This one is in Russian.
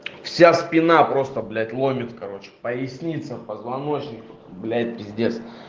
вся спина просто блять ломит короче поясница позвоночник блять пиздец